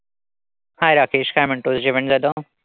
Hi Rakesh काय म्हणतोस? जेवण झालं?